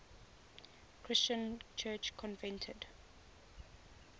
christian church convened